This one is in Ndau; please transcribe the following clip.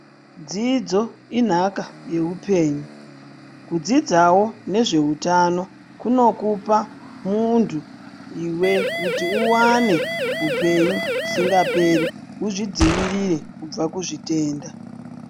Dzidzo inhaka yeupenyu. Kudzidzawo nezveutano kunokupa muntu iwe kuti uwane hupenyu usinga peri muzvidzivirire kubva kuzvitenda.